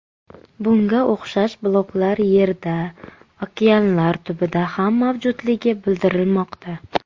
Bunga o‘xshash bloklar Yerda, okeanlar tubida ham mavjudligi bildirilmoqda.